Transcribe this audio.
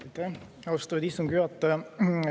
Aitäh, austatud istungi juhataja!